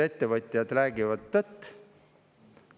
Ettevõtjad räägivad tõtt.